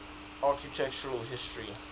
architectural history